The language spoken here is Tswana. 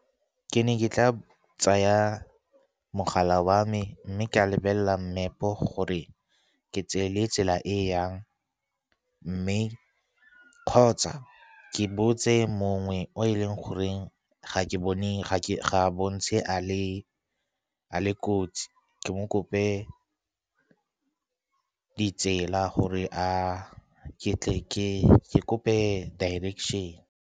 Ke ne ke tla tsaya mogala wa me mme ka lebelela mmepe gore ke tseile tsela e e yang, kgotsa ke botse mongwe o e leng go gore , ga a bontshe a le kotsi, ke mo kope ditsela gore ke tle kope direction.